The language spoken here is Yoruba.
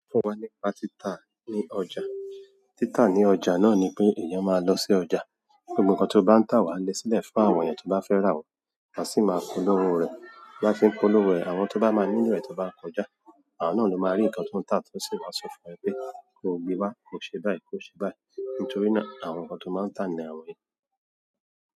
So fún wa nípa tita ni ọjà? Títà ní ọjà náà ni pé èèyàn máa lọ sí ọjà, gbogbo nǹkan tó bá ń tà wà gbẹ́silẹ̀ fún àwọn èèyàn tó bá fẹ́ rà wọ̀, a sì máa polówó rẹ̀. Láti polówó ẹ̀, àwọn tó bá máa níyàn rẹ̀ tó bá ń kó ọjà, àwọn náà ló máa rí nǹkan tó ń tà tó sì wá sọ fún ẹ pé kí o gbe wá, kó ṣe báyìí, kó ṣe báyìí. Nítorí náà àwọn nǹkan tó máa ń tà ni àwọn yìí.